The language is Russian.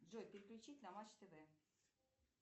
джой переключить на матч тв